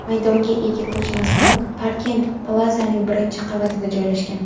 maydonga ega ko‘chmas mulk Parkent Plazaning birinchi qavatida joylashgan.